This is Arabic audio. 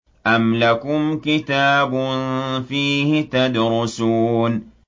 أَمْ لَكُمْ كِتَابٌ فِيهِ تَدْرُسُونَ